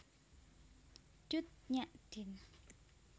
Cut Nyak Dien